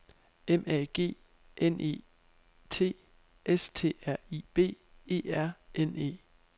M A G N E T S T R I B E R N E